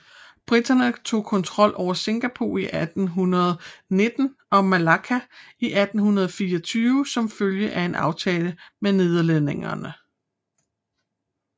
Briterne tog kontrol over Singapore i 1819 og Malakka i 1824 som følge af en aftale med nederlænderne